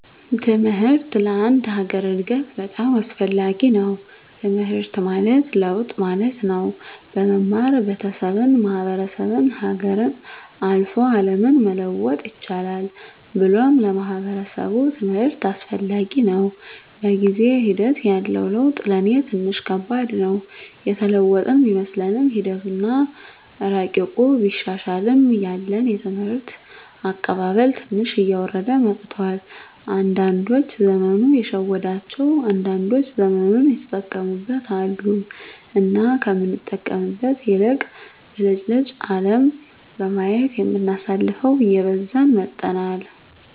ትምሕርት ለአንድ ሀገር እድገት በጣም አስፈላጊ ነዉ። ትምሕርት ማለት ለውጥ ማለት ነው። በመማር ቤተሠብን፣ ማሕበረሰብን፣ ሀገርን፣ አልፎ አለምን መለወጥ ይቻላል ብሎም ለማሕበረሰቡ ትምህርት አስፈላጊ ነው። በጊዜ ሒደት ያለው ለውጥ ለኔ ትንሽ ከባድ ነው። የተለወጥን ቢመስለንምሒደቱ አና እረቂቁ ቢሻሻልም ያለን የትምህርት አቀባበል ትንሽ እየወረደ መጥቷል። አንዳዶች ዘመኑ የሸወዳቸው አንዳንዶች ዘመኑን የተጠቀሙበት አሉ። እና ከምንጠቀምበት ይልቅ ብልጭልጭ አለም በማየት የምናሳልፈው እየበዛን መጥተናል።